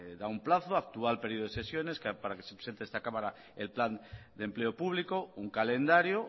da un plazo actual periodo de sesiones para que se presente a esta cámara el plan de empleo público un calendario